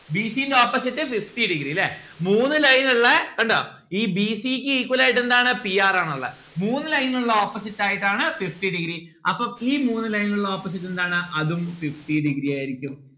b c ന്റെ opposite fifty degree ല്ലേ. മൂന്ന് line ഉള്ളേ കണ്ടോ? ഈ b c ക്ക് equal ആയിട്ട് എന്താണ് p r ആണുല്ലേ മൂന്ന് line ഉള്ള opposites ആയിട്ടാണ് fifty degree അപ്പം ഈ മൂന്ന് line ഇനുള്ള opposite എന്താണ്? അതും fifty degree ആയിരിക്കും